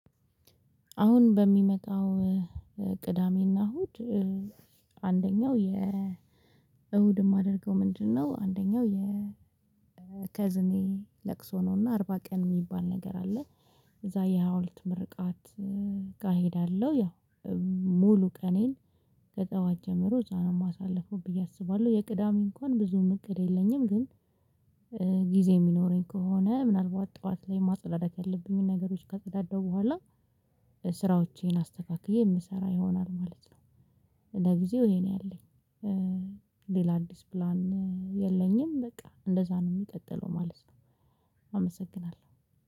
አሁን በሚመጣው ቅዳሜና እሁድ አንደኛው የእሁድ የማደርገው ምንድነው አንደኛው የ ከዝኔ ለቅሶ ነውና አርባ ቀን የሚባል ነገር አለ። እዛ የሀውለት ምርቃት ጋ እሄዳለሁ ያው ሙሉ ቀኔን ከጠዋት ጀምሮ እዛ ነው የማሳልፈው ብዬ አስባለሁ የቅዳሜ እንኳን ብዙም እቅድ የለኝም ግን ጊዜ የሚኖረኝ ከሆነ ምናልባት ጠዋት ላይ ማጸዳደቅ ያለብኝ ነገሮች ከጸዳደው በኋላ ስራዎቼን አስተካክዬ የምሰራ ይሆናል ማለት ነው። ለጊዜው ይሄን ያለኝ ሌላ አዲስ ፕላን የለኝም በቃ እንደዛ ነው የሚቀጥለው ማለት ነው አመሰግናለሁ።